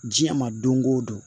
Diɲɛ ma don o don